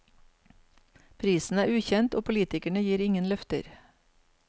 Prisen er ukjent, og politikerne gir ingen løfter.